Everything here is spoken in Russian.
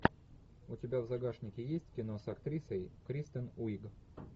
у тебя в загашнике есть кино с актрисой кристен уиг